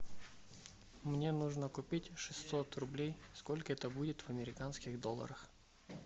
мне нужно купить шестьсот рублей сколько это будет в американских долларах